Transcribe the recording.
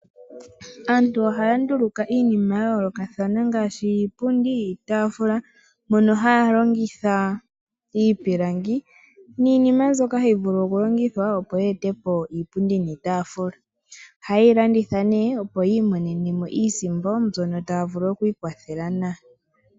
Aantu ohaya ndulukapo iinima ya yoolokathana ngaashi iipundi, iitaafula mono haya longitha iipilangi niinima mbyoka hayi vulu oku longithwa opo ye etepo iitaafula. Oha yeyi landitha nee opo yi imonenemo iisimpo mbyono taya vulu oku ikwathela nayo.